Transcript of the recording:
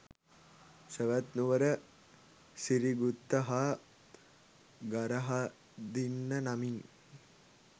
සැවැත් නුවර සිරිගුත්ත හා ගරහදින්න නමින්